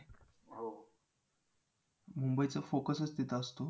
ओठांसाठी वगैरे ओठ चे काळे पण वैगेरे निगुन जाण्या साठी आणि face wash सुद्धा मला हवा ये जरा माहिती देतेस का?